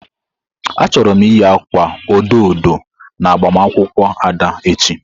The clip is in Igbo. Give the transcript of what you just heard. Achọrọ m iyi akwa odo odo na agbamakwụkwọ Ada echi.